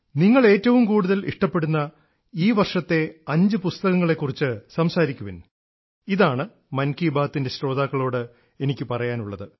നിങ്ങൾ ഏറ്റവും കൂടുതൽ ഇഷ്ടപ്പെടുന്ന ഈ വർഷത്തെ അഞ്ച് പുസ്തകങ്ങളെക്കുറിച്ച് സംസാരിക്കുവിൻ ഇതാണ് മൻ കീ ബാത്തിൻറെ ശ്രോതാക്കളോട് എനിക്ക് പറയാനുള്ളത്